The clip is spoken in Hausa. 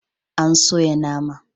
An soya nama.